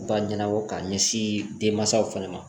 Ba ɲɛnabɔ k'a ɲɛsin denmansaw fana ma